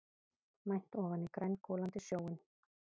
Mænt ofan í grængolandi sjóinn.